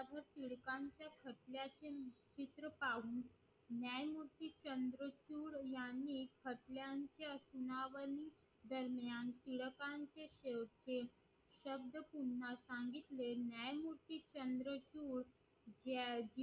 न्यायमूर्ती चंद्रशूर यांनी दरम्यान टिळकांचे शेवटचे शब्द पुन्हा सांगितले न्यायमूर्ती चंद्रशूर